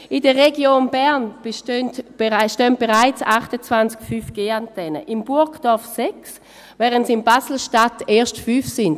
in der Region Bern stehen bereits 28 5GAntennen, in Burgdorf 6, während es in Basel-Stadt erst 5 sind.